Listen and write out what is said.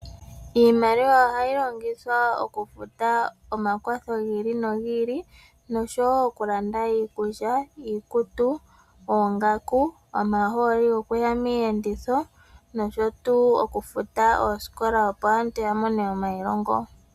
Iimaliwa ohayi longithwa oku futa omakwatho gi ili nogi ili noshowo oku landa iikulya, iikutu, oongaku omahooli gwo kuya miiyenditho nosho tuu oku futa oosikola opo aantu ya mone omailongo.